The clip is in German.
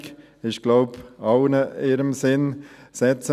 das ist, glaube ich, im Sinn aller.